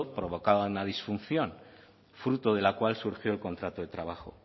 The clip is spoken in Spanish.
provocaba una disfunción fruto de la cual surgió el contrato de trabajo